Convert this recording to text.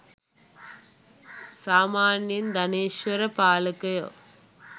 සාමාන්‍යයෙන් ධනේෂ්වර පාලකයෝ